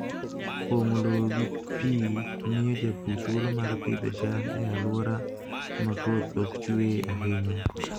Pong'o lowo gi pi miyo jopur thuolo mar pidho cham e alwora ma koth ok chue ahinya.